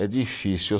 É difícil.